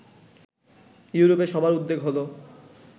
ইউরোপে সবার উদ্বেগ হলো